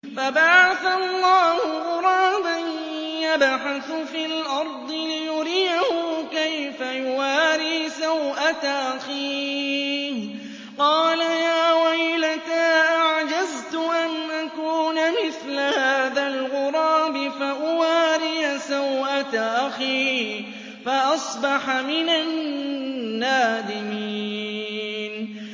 فَبَعَثَ اللَّهُ غُرَابًا يَبْحَثُ فِي الْأَرْضِ لِيُرِيَهُ كَيْفَ يُوَارِي سَوْءَةَ أَخِيهِ ۚ قَالَ يَا وَيْلَتَا أَعَجَزْتُ أَنْ أَكُونَ مِثْلَ هَٰذَا الْغُرَابِ فَأُوَارِيَ سَوْءَةَ أَخِي ۖ فَأَصْبَحَ مِنَ النَّادِمِينَ